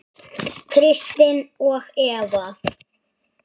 Kristin og Eva.